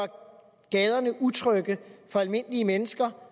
gaderne utrygge for almindelige mennesker